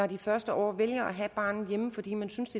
de første år vælger at have barnet hjemme fordi man synes